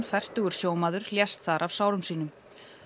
fertugur sjómaður lést þar af sárum sínum